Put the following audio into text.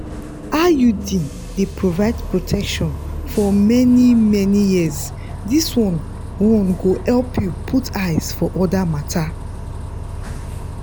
iud dey provide protection for many-many years this one one go help you put eyes for other matters.